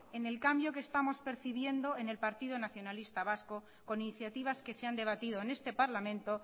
en el cambio que estamos percibiendo en el partido nacionalista vasco con iniciativas que se han debatido en este parlamento